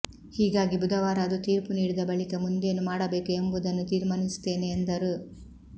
ಹೀಗಾಗಿ ಬುಧವಾರ ಅದು ತೀರ್ಪು ನೀಡಿದ ಬಳಿಕ ಮುಂದೇನು ಮಾಡಬೇಕು ಎಂಬುದನ್ನು ತೀರ್ಮಾನಿಸುತ್ತೇನೆ ಎಂದರು